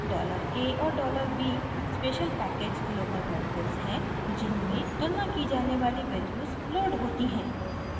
dollar a और dollar b special package local variables हैं जिनमें तुलना की जाने वाली वैल्यूज़ लोड होती हैं